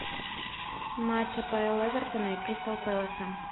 матч апл эвертона и кристал пэласа